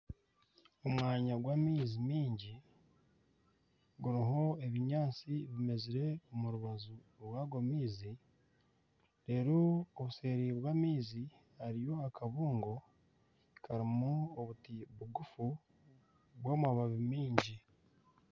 Omwanya gw'amaizi mingi guriho ebinyaatsi bimezire omu rubaju rw'ago maizi reero obuseeri bw'amaizi hariyo akabungo karimu obuti bugufu bw'amababi mingi